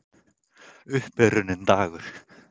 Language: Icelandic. Upp er runninn dagur